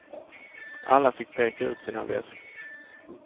Alla fick peka ut sina väskor.